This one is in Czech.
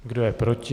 Kdo je proti?